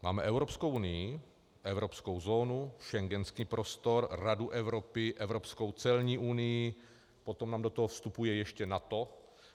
Máme Evropskou unii, evropskou zónu, schengenský prostor, Radu Evropy, evropskou celní unii, potom nám do toho vstupuje ještě NATO.